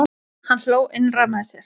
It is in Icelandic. Hann hló innra með sér.